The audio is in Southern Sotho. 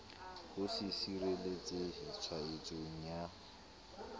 ho se sireletsehe tshwaetsong ya